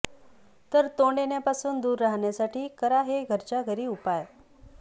तर तोंड येण्यापासून दूर राहण्यासाठी करा हे घरच्या घरी उपाय